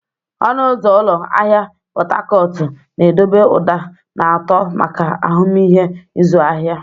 Ọnụ ụzọ ụlọ ahịa Pot Tarcot na-edobe ụda na-atọ maka ahụmịhe ịzụ ahịa.